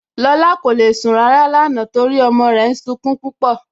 Lọla kò le sun ràrà lánà nítorí ọmọ rè ń súnkún púpọ.